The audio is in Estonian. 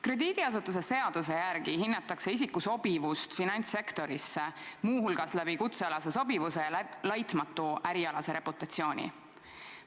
Krediidiasutuste seaduse järgi hinnatakse isiku sobivust finantssektorisse muu hulgas kutsealase sobivuse ja laitmatu ärialase reputatsiooni alusel.